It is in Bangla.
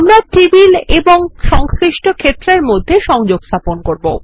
আমরা টেবিল এবং সংশ্লিষ্ট ক্ষেত্রের মধ্যে সংযোগ স্থাপন করব